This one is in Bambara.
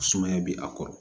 Sumaya bɛ a kɔrɔ